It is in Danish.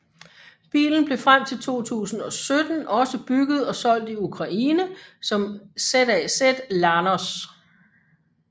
Bilen blev frem til 2017 også bygget og solgt i Ukraine som ZAZ Lanos